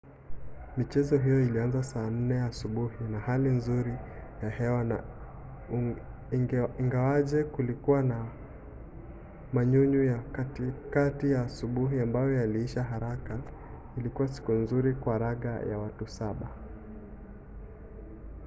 michezo hiyo ilianza saa 10 asubuhi na hali nzuri ya hewa na ingawaje kulikuwa na manyunyu ya katikati ya asubuhi ambayo yaliisha haraka ilikuwa siku nzuri kwa raga ya watu 7